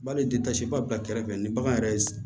Hali ba bɛ ka kɛrɛfɛ ni bagan yɛrɛ ye